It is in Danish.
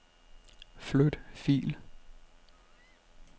Flyt fil.